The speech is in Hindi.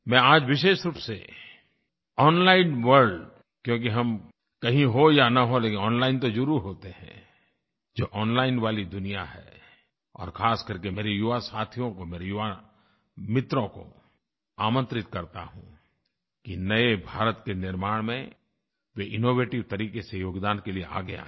मैं आज विशेष रूप से ओनलाइन वर्ल्ड क्योंकि हम कहीं हों या न हों लेकिन ओनलाइन तो ज़रुर होते हैं जो ओनलाइन वाली दुनिया है और खासकर के मेरे युवा साथियों को मेरे युवा मित्रों को आमंत्रित करता हूँ कि नये भारत के निर्माण में वे इनोवेटिव तरीक़े से योगदान के लिए आगे आएँ